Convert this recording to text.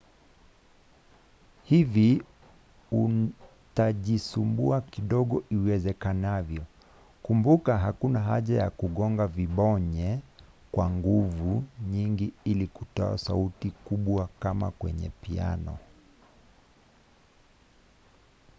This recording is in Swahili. hivi utajisumbua kidogo iwezekanavyo. kumbuka hakuna haja ya kugonga vibonye kwa nguvu nyingi ili kutoa sauti kubwakama kwenye piano